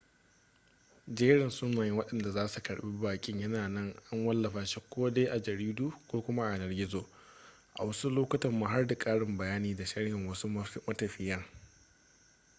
jerin sunayen wadanda za su karbi bakin yana nan an wallafa shi ko dai a jaridu ko kuma a yanar gizo a wasu lokutan ma har da karin bayani da sharhin wasu matafiyan